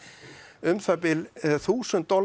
um það bil þúsund dali á